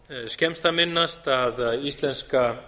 skemmst er að minnast að íslenska